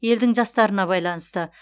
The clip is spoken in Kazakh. елдің жастарына байланысты